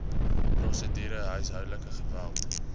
prosedure huishoudelike geweld